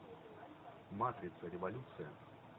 матрица революция